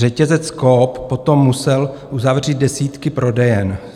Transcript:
Řetězec COOP potom musel uzavřít desítky prodejen.